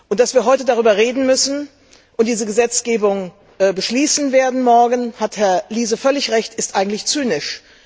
Dass wir heute darüber reden müssen und diese Gesetzgebung morgen beschließen werden da hat Herr Liese völlig Recht ist eigentlich zynisch.